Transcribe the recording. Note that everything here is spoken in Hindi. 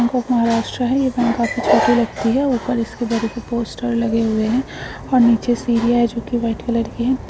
बैंक ऑफ महाराष्ट्र है ऊपर इसकी बड़े से पोस्टर लगे हुए है और नीचे सीढ़िया है जो की व्हाइट कलर की है।